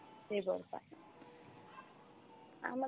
সেই বর পায়। আমাদের